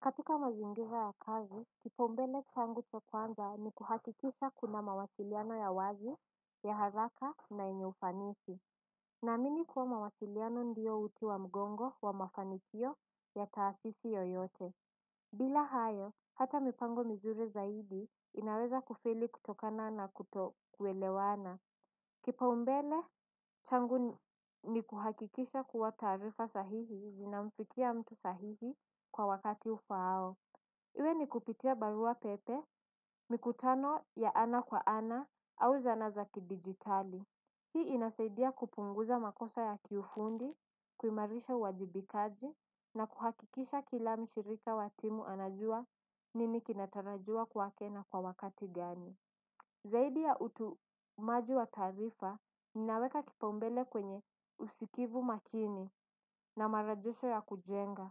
Katika mazingira ya kazi kipaumbele changu cha kwanza ni kuhakikisha kuna mawasiliano ya wazi ya haraka na yenye ufanisi. Naamini kuwa mawasiliano ndiyo uti wa mgongo wa mafanikio ya taasisi yoyote. Bila hayo hata mipango mizuri zaidi inaweza kufeli kutokana na kutokwelewana. Kipaumbele, changu ni kuhakikisha kuwa taarifa sahihi zinamfikia mtu sahihi kwa wakati ufaao. Iwe ni kupitia barua pepe, mikutano ya ana kwa ana au zana za kidijitali. Hii inasaidia kupunguza makosa ya kiufundi, kuimarisha uwajibikaji na kuhakikisha kila mshirika wa timu anajua nini kinatarajiwa kwake na kwa wakati gani. Zaidi ya utumaji wa taarifa ninaweka kipaumbele kwenye usikivu makini na marajesho ya kujenga.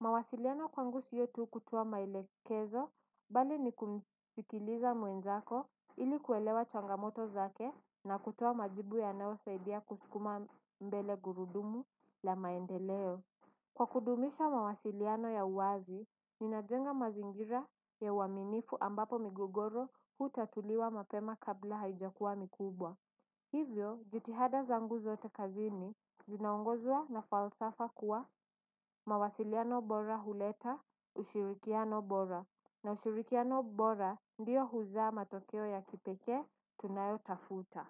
Mawasiliano kwangu sio tu kutuoa maelekezo bali ni kumsikiliza mwenzako ili kuelewa changamoto zake na kutuoa majibu yanayosaidia kuskuma mbele gurudumu la maendeleo. Kwa kudumisha mawasiliano ya uwazi, ninajenga mazingira ya uaminifu ambapo migogoro hutatuliwa mapema kabla haijakuwa mikubwa. Hivyo, jitihada zangu zote kazini, zinaongozwa na falsafa kuwa mawasiliano bora huleta, ushirikiano bora. Na ushirikiano bora ndiyo huzaa matokeo ya kipekee tunayotafuta.